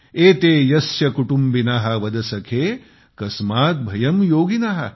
एते यस्य कुटिम्बिन वद सखे कस्माद् भयं योगिनः